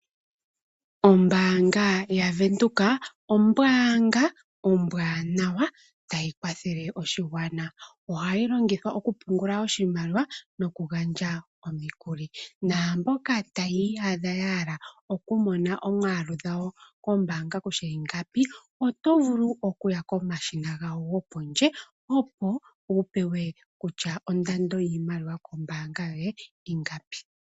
Ombaanga yaVenduka ombaanga ombwanawa tayi kwathele oshigwana. Ohayi longithwa oku pungula oshimaliwa noku gandja omikuli, naamboka taya iyadha yahala okumona omiyalu dhawo kombaanga kutya ingapi oto vulu okuya pomashina gawo gopondje opo wupewe kutya ondando yiimaliwa kombaanga yoye ingapi.